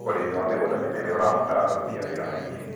ũrĩmi wa mĩgũnda mĩnene ũrabatara aruti a wĩra aingĩ.